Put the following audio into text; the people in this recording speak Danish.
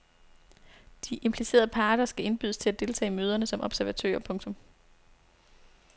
De implicerede parter skal indbydes til at deltage i møderne som observatører. punktum